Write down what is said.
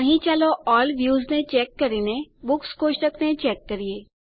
અહીં ચાલો all views ને ચેક કરીને બુક્સ કોષ્ટકને ચેક કરીએ